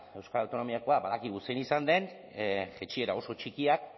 euskal autonomiakoa badakigu zein izan den jaitsiera oso txikiak